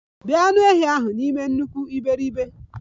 Bee anụ ehi ahụ n'ime nnukwu iberibe!